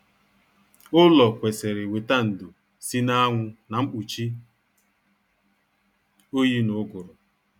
Ụlọ kwesịrị weta ndo si na anwụ na mkpuchi oyi na uguru